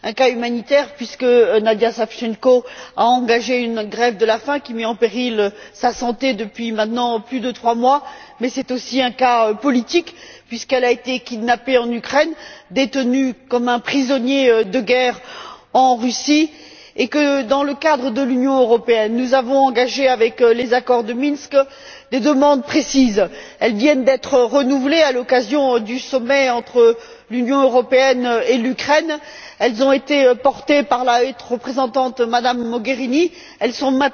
Un cas humanitaire, puisque Nadya Savchenko a engagé une grève de la faim qui met en péril sa santé depuis maintenant plus de trois mois, mais aussi un cas politique, puisqu'elle a été kidnappée en Ukraine, détenue comme un prisonnier de guerre en Russie et que, dans le cadre de l'Union européenne, nous avons formulé dans les accords de Minsk, des demandes précises. Ces demandes viennent d'être renouvelées à l'occasion du sommet entre l'Union européenne et l'Ukraine, elles ont été portées par la haute représentante, Mme Mogherini, elles sont